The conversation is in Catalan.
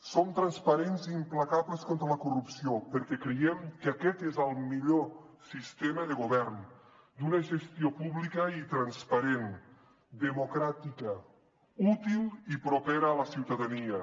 som transparents i implacables contra la corrupció perquè creiem que aquest és el millor sistema de govern d’una gestió pública i transparent democràtica útil i propera a la ciutadania